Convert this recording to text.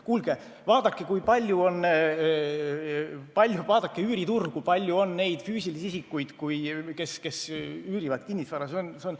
Kuulge, vaadake üüriturgu, kui palju on neid füüsilisi isikuid, kes üürivad kinnisvara välja!